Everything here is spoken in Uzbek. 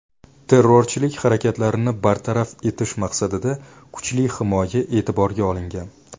Terrorchilik harakatlarini bartaraf etish maqsadida kuchli himoya e’tiborga olingan.